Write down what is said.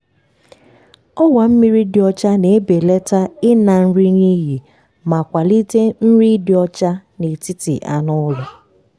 ọwa mmiri dị ọcha na-ebelata ịna nri n’iyi ma kwalite nri ịdị ọcha n'etiti anụ ụlọ.